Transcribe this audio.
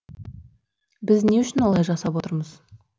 біз не үшін олай жасап отырмыз